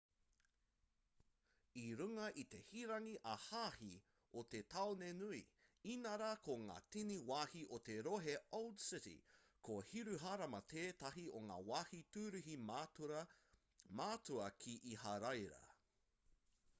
i runga i te hiranga ā-hāhi o te tāone nui inarā ko ngā tini wāhi o te rohe old city ko hiruharama tētahi o ngā wāhi tūruhi matua ki iharaira